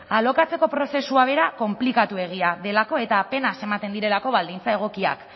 alokatzeko prozesua bera konplikatuegia delako eta apenas ematen direlako baldintza egokiak